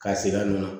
K'a sigi a nɔ na